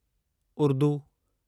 Urdu